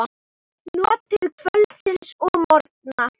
Notið kvölds og morgna.